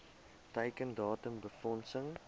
teiken datum befondsing